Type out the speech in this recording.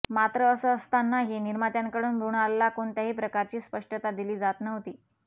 मात्र असं असतानाही निर्मात्यांकडून मृणालला कोणत्याही प्रकारची स्पष्टता दिली जात नव्हती